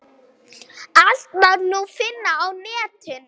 Allt má nú finna á netinu!